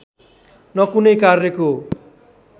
न कुनै कार्यको